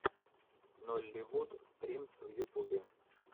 нолливуд стримс в ютубе